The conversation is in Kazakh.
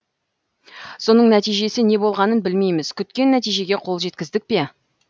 соның нәтижесі не болғанын білмейміз күткен нәтижеге қол жеткіздік пе